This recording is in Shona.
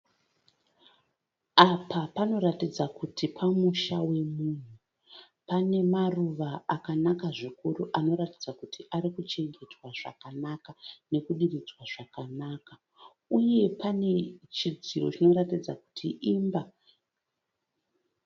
Apa panoratidza kuti pamusha wemunhu. Pane maruva akanaka zvikuru anoratidza kuti ari kuchengetwa zvakanaka nekudiridzwa zvakanaka uye pane chidziro chinoratidza kuti imba.